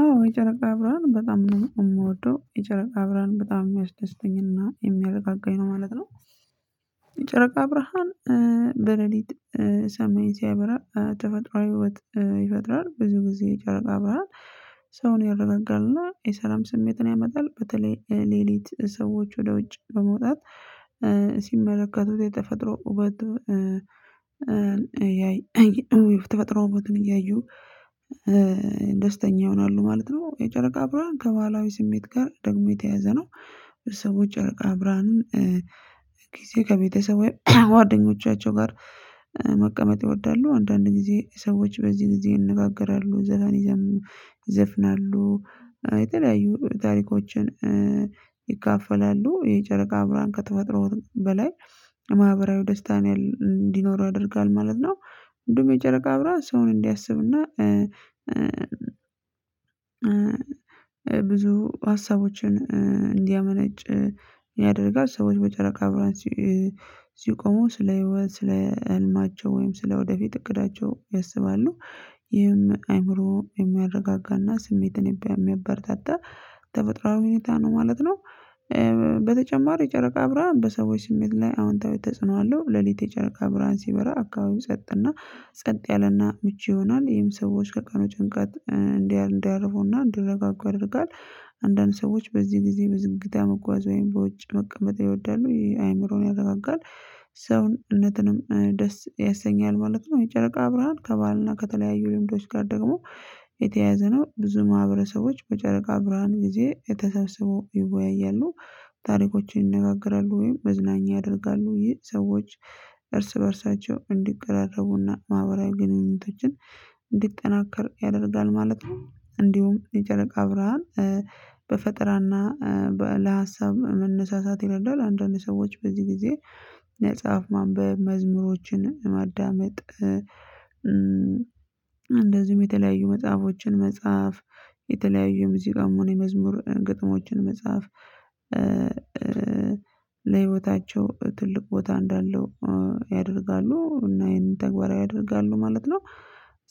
አዎ የጨረቃ ብርሃን በጣም ነው የምወደው የጨረቃ ብርሃን በጣም የሚያስደስተኝና የሚያረጋጋኝ ነው ማለት ነው። ጨረቃ ብራሃን በለሊት ሰማይን ሲያበራ ተፈጥሮአዊ ውበት ይፈጥራል ብዙ ጊዜ ይጨረቃ ብርሃን። ሰውን ያረጋጋልና የሰላም ስሜትን ያመጣል በተለይ ሌሊት ሰዎች ወደ ውጭ በመውጣት ሲመለከቱት የተፈጥሮ ውበቱ ተፈጥሮ ውበትን እያዩ ደስተኛ ይሆናሉ ማለት ነው። የጨረቃ ብርሃን ከባህላዊ ስሜት ጋር ደግሞ የተያዘ ነው። ሰው ጨረቃ ብርሃንን ከቤተሰቡ ጓደኞቻቸው ጋር መቀመጥ ይወዳሉ አንዳንድ ጊዜ ሰዎች በዚህ ጊዜ ይነጋገራሉ ዘፈን ይዘፍናሉ የተለያዩ ታሪኮችን ይካፈላሉ። የጨረቃ ብርሃን ከተፈጥሮ ውበትም በላይ ማህበራዊ ደስታን እንዲኖር ያደርጋለሁ ማለት ነው። እንደውም የጨረቃ ብራሀን ሰውን እንዲያስብና ብዙ ሀሳቦችን እንዲያመነጭ ያደርጋል። ሀሳቦች በጨረቃ ብርሃን ሲቆሙ ስለ ህልማቸው ወይም ስለ ወደፊት እቅዳቸው ያሰባሉ። ይህም አይምሮ የሚያረጋጋና ስሜትን የሚያበረታታ ተፈጥራዊ ሁኔታ ነው ማለት ነው። በተጨማሪ ጨረቃ ብርሃን በሰዎች ስሜት ላይ አዎንታዊ ተጽኖ አለው። ሌሊት የጨረቃ ብርሃን ሲበራ አካባቢ ሰጥና ጸጥ ያለና ምቹ ይሆናል ይሄም ሰዎች ከቀኑ ጭንቀት እንዳያርፉና እንደረጋጋ ያደርጋል። አንዳንድ ሰዎች በዚህ ጊዜ በዝግታ መጓዝ ወይም በውጭ መቀመጥ ይወዳሉ ይሄ አይምሮን ያነቃቃል ሰውነትንም ደስ ያሰኛል ማለት ነው። የጨረቃ ብርሃን ከባህልና ከተለያዩ ልምዶች ጋር ደግሞ የተያያዘ ነው። ብዙ ማህበረሰቦች በጨረቃ ብርሃን ጊዜ ተሰበሰበው ይወያያሉ ታሪኮችን ይነጋገራሉ ወይም መዝናኛ ያደርጋሉ ይህ ሰዎች እርስ በእርሳቸው እንዲቀራቀሩና ማህበራዊ ግንኙነቶችን እንዲጠናከር ያደርጋል ማለት ነው። እንዲሁም የጨረቃ ብርሃን በፈጠራና ለሀሳብ መነሳሳት ይረዳል። አንዳንድ ሰዎች በዚህ ጊዜ ነጻፍ ማንበብ መዝሙሮችን ማዳመጥ እንደዚሁም የተለያዩ መጽሐፎችን መጽሐፍ የተለያዩ ሙዚቃም ሆኖ የመዝሙር ግጥሞችን መጽሐፍ ለህይወታቸው ትልቅ ቦታ እንዳለው ያደርጋሉ እና ይሄን ተግባራ ያደርጋሉ ማለት ነው።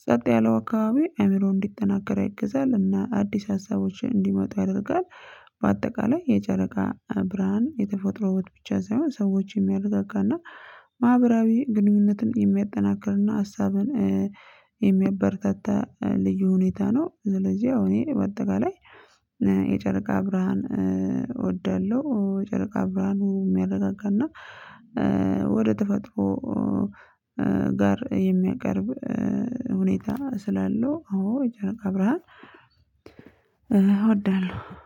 ጸጥ ያለው አካባቢ አይምሮ እንዲጠናከር ይገዛል እና አዲስ ሀሳቦች እንዲመጡ ያደርጋል። በአጠቃላይ የጨረቃ ብርሃን የተፈጥሮውን ብቻ ሳይሆን ሰዎችን የሚያረጋጋና ማህበራዊ ግንኙነትን የሚያጠናክርና ሀሳብን የሚያበረታታ ልዩ ሁኔታ ነው። ስለዚህ አሁን እኔ በአጠቃላይ የጨረቃ ብርሃን እወዳለሁ። ጨረቃ ብርሃን የሚያረጋግጥ እና ወደ ተፈጥሮ የሚያቀርብ ሁኔታ ስላለው አዎ ብርሃን እወዳለሁ